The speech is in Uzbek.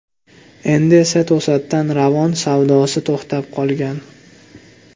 Endi esa to‘satdan Ravon savdosi to‘xtab qolgan.